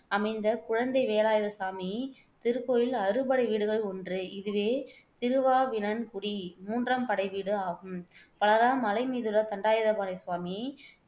அமைந்த குழந்தை வேலாயுத சுவாமி திருக்கோயில் அறுபடை வீடுகளுள் ஒன்று இதுவே திருவாவினன்குடி மூன்றாம் படைவீடு ஆகும். பலரால் மலை மீதுள்ள தண்டாயுதபாணி சுவாமி